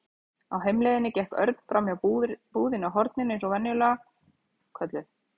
Á heimleiðinni gekk Örn framhjá búðinni á horninu eins og hún var venjulega kölluð.